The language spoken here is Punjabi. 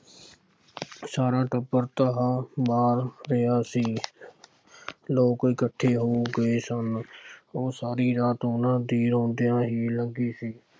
ਸਾਰਾ ਟੱਬਰ ਧਾਹਾਂ ਮਾਰ ਰਿਹਾ ਸੀ। ਲੋਕ ਇਕੱਠੇ ਹੋ ਗਏ ਸਨ। ਉਹ ਸਾਰੀ ਰਾਤ ਉਹਨਾ ਦੀ ਰੌਂਦਿਆਂ ਹੀ ਲੰਘੀ ਸੀ।